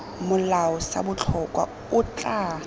molao sa botlhokwa o tla